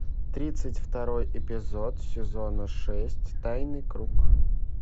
тридцать второй эпизод сезона шесть тайный круг